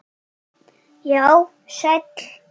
Já, sæll.